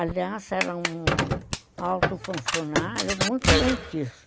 Aliás, era um alto funcionário, muito benquisto.